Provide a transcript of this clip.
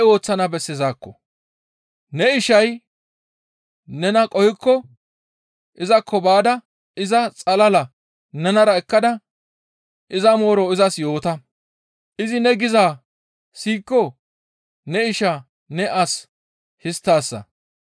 «Ne ishay nena qohikko izakko baada iza xalala nenara ekkada iza mooro izas yoota; izi ne gizaa siyikko ne ishaa ne as histtaasa.